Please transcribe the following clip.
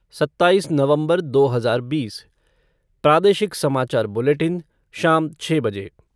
सत्ताइस नवंबर दो हज़ार बीस प्रादेशिक समाचार बुलेटिन शाम छः बजे